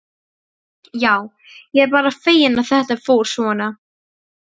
Já, ég er bara feginn að þetta fór svona.